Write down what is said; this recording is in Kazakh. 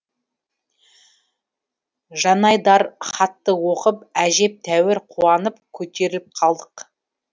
жанайдар хатты оқып әжептәуір қуанып көтеріліп қалдық